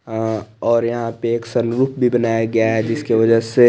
हा और यहा पे एक सलूक भी बनाया गया है जिसकी वजह से--